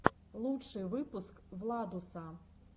лучший выпуск владуса